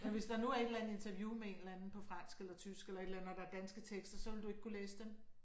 Ja hvis der nu er et eller andet interview med en eller anden på fransk eller tysk eller et eller andet og der er danske tekster så ville du ikke kunne læse dem?